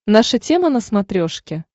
наша тема на смотрешке